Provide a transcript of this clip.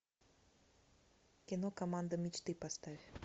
кино команда мечты поставь